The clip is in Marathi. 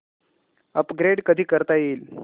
अपग्रेड कधी करता येईल